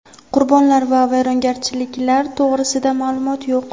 Qurbonlar va vayronagarchiliklar to‘g‘risida ma’lumot yo‘q.